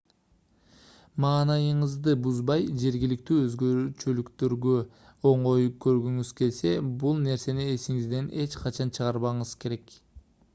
маанайыңызды бузбай жергиликтүү өзгөчөлүктөргө оңой көнгүңүз келсе бул нерсени эсиңизден эч качан чыгарбашыңыз керек